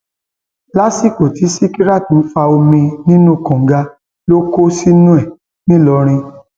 lásìkò tí sìkìràt ń fa omi nínú kànga ló kó sínú ẹ nìlọrin